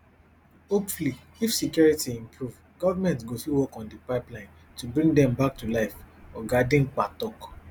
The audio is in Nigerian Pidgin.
hopefully if security improve goment go fit work on di pipelines to bring dem bak to life oga dimka tok